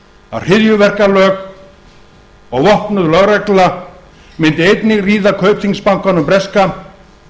að hryðjuverkalög og vopnuð lögregla mundi einnig ríða kaupþingsbankanum breska